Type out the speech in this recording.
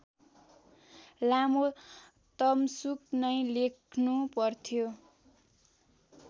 लामो तमसुक नै लेख्नुपर्थ्यो